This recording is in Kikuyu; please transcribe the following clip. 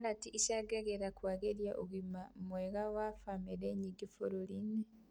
Karati ĩcangagĩra kũagĩria ũgima mwega wa bamĩrĩ nyingĩ bũrũri-inĩ